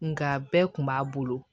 Nka bɛɛ kun b'a bolo